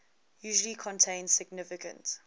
usually contain significant